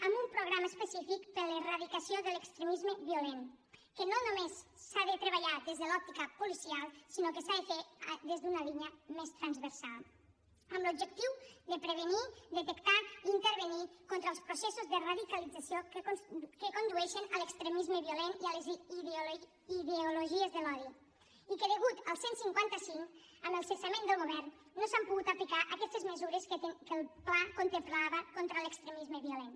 amb un programa específic per a l’erradicació de l’extremisme violent que no només s’ha de treballar des de l’òptica policial sinó que s’ha de fer des d’una línia més transversal amb l’objectiu de prevenir detectar i intervenir contra els processos de radicalització que condueixen a l’extremisme violent i a les ideologies de l’odi i que degut al cent i cinquanta cinc amb el cessament del govern no s’han pogut aplicar aquestes mesures que el pla contemplava contra l’extremisme violent